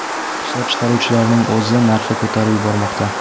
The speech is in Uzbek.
Ishlab chiqaruvchilarning o‘zi narxni ko‘tarib yubormoqda.